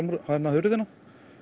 hurðina